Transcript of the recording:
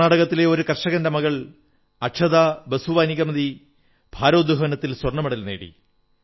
കർണ്ണാടകത്തിലെ ഒരു കർഷകന്റെ മകൾ അക്ഷതാ ബാസ്വാനികമതി ഭാരോദ്വഹനത്തിൽ സ്വർണ്ണ മെഡൽ നേടി